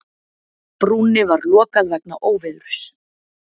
Brúnni var lokað vegna óveðursins